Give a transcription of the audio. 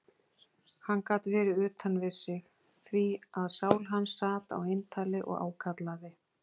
Hann gat verið utan við sig, því að sál hans sat á eintali og ákallaði